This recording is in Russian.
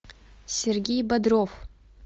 сергей бодров